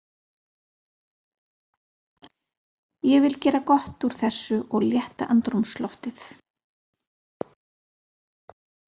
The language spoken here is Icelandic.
Ég vil gera gott úr þessu og létta andrúmsloftið.